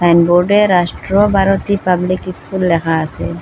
সাইনবোর্ডে Rashtra Bharati public school লেখা আসে।